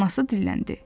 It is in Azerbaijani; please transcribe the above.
Anası dilləndi.